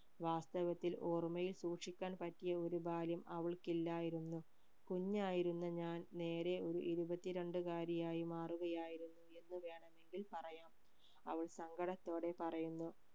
വാസ്തവത്തിൽ ഓർമ്മയിൽ സൂക്ഷിക്കാൻ പറ്റിയ ഒരു ബാല്യം അവൾക്കില്ലായിരുന്നു കുഞ്ഞായിരുന്ന ഞാൻ നേരെ ഒരു ഇരുപത്തിരണ്ട് കാരി ആയോ മാറുകയായിരുന്നു എന്ന് വേണമെങ്കിൽ പറയാം